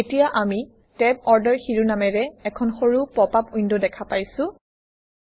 এতিয়া আমি Tab order শিৰোনামেৰে এখন সৰু পপআপ উইণ্ড দেখা পাইছোঁ